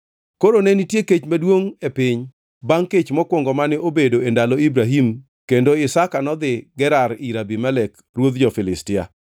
Koro ne nitie kech maduongʼ e piny; bangʼ kech mokwongo mane obedo e ndalo Ibrahim kendo Isaka nodhi Gerar ir Abimelek ruodh jo-Filistia.